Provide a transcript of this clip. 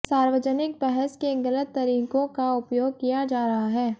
सार्वजनिक बहस के गलत तरीकों का उपयोग किया जा रहा है